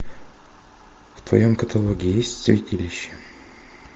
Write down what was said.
в твоем каталоге есть святилище